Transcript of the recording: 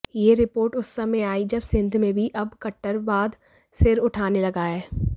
यह रिपोर्ट उस समय आई जब सिंध में भी अब कट्टरवाद सिर उठाने लगा है